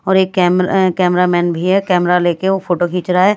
और एक camera cameraman भी है कैमरा लेके वो फोटो खींच रहा है।